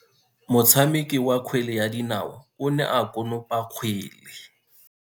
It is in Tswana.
Motshameki wa kgwele ya dinao o ne a konopa kgwele.